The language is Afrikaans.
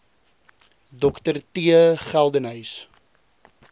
dr t geldenhuys